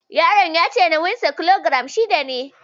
Yaron ya ce nauyinsa kilogiram ashirin ne